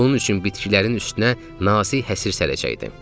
Bunun üçün bitkilərin üstünə nazi həsır sərəcəkdim.